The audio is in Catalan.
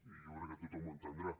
i jo crec que tothom ho entendrà